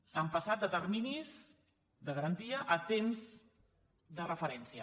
s’ha passat de terminis de garantia a temps de referència